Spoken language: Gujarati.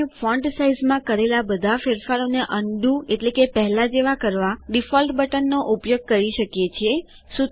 આપણે ફોન્ટ સાઈઝમાં કરેલા બધા ફેરફારોને અન્ડું એટલેકે પહેલા જેવા કરવા ડિફોલ્ટ બટનનો ઉપયોગ કરી શકીએ છીએ